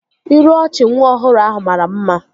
Iru ọchị nwa ọhụrụ ahụ mara mma